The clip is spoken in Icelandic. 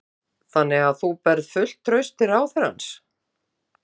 Þóra Kristín: Þannig að þú berð fullt traust til ráðherrans?